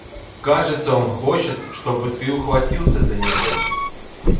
кажется он хочет чтобы ты ухватился за него